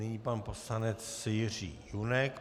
Nyní pan poslanec Jiří Junek.